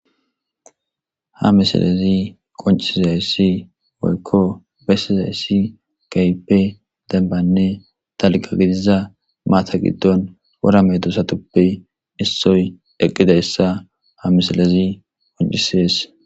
Ha misilezi qonchisdays weyko besdays, kehipe danbane dalga gidida mata gidon, wora madosatupe isoyi iqdaysa ha misile beses.